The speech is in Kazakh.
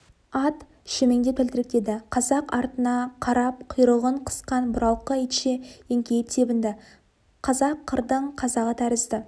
ат шөмеңдеп тәлтіректеді қазақ артына қарап құйрығын қысқан бұралқы итше еңкейіп тебінді қазақ қырдың қазағы тәрізді